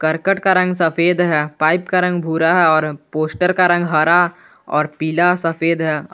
करकट का रंग सफेद है पाइप का रंग भूरा है और पोस्टर का रंग हरा और पीला सफेद है।